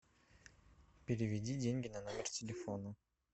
переведи деньги на номер телефона